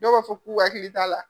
Dɔw b'a fɔ k'u hakili t'a la.